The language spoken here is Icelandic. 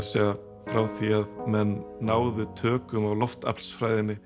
segja frá því að menn náðu tökum á